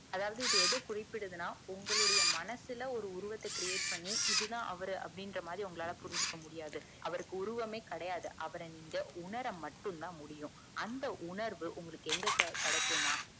அதாவது இது எத குரிபிடுதுனா உங்களுடைய மனசுல உருவத்த create பண்ணி இது தான் அவரு புரிஞ்சுக்க முடியாது அவர்க்கு உருவமே கெடையாது அவர உணர மட்டும் தான் முடியும் அந்த உணர்வு உங்களுக்கு எங்க கெடைக்கும்னா